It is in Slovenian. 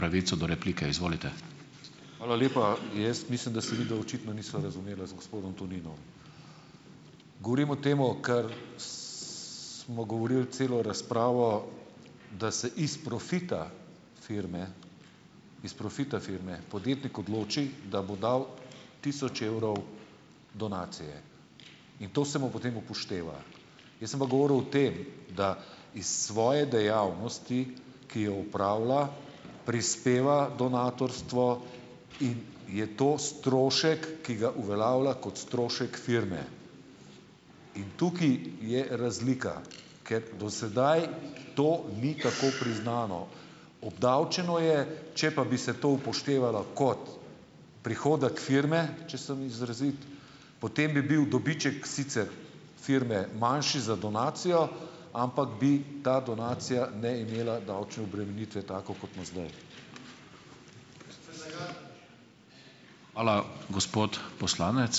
Hvala lepa. Jaz mislim, da se midva očitno nisva razumela z gospodom Toninom. Govorim o temu, kar, smo govorili celo razpravo, da se iz profita firme iz profita firme podjetnik odloči, da bo dal tisoč evrov donacije. In to se mu potem upošteva. Jaz sem pa govoril o tem, da iz svoje dejavnosti, ki jo opravlja, prispeva donatorstvo, in je to strošek, ki ga uveljavlja kot strošek firme. In tukaj je razlika. Kot do sedaj to ni tako priznano. Obdavčeno je. Če pa bi se to upoštevalo kot prihodek firme, če sem izrazit, potem bi bil dobiček sicer firme manjši za donacijo, ampak bi ta donacija ne imela davčne obremenitve tako, kot ima zdaj.